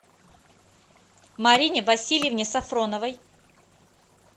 марине васильевне сафроновой